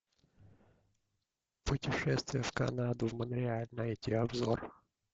путешествие в канаду в монреаль найти обзор